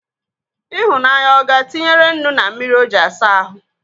Ịhụnanya ọ ga-tinyere nnu na mmiri o ji asa ahụ?